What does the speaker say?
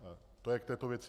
To je k této věci.